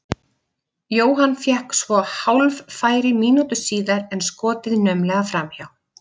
Jóhann fékk svo hálffæri mínútu síðar en skotið naumlega framhjá.